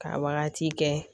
Ka wagati kɛ